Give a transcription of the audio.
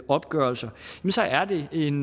opgørelser er det en